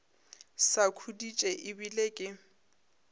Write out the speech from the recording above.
sa khuditše e bile ke